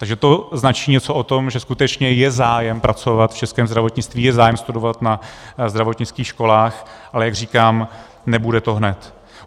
Takže to značí něco o tom, že skutečně je zájem pracovat v českém zdravotnictví, je zájem studovat na zdravotnických školách, ale jak říkám, nebude to hned.